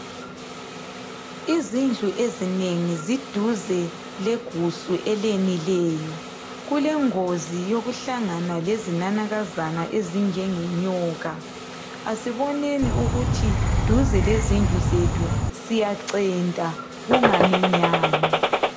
Izindlu ezinengi ziduze legusu eleneleyo. Kulengozi yokuhlangana kezinanakazana ezinjengenyoka. Asiboneni ukuthi eduze lezindlu zethu, siyacenta. Kungaminyani.